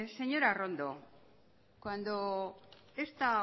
señora arrondo cuando esta